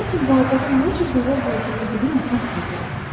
Lakin baobabın nə cür zərər verdiyini bilən az tapılır.